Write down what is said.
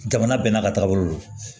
Jamana bɛɛ n'a ka tagabolo don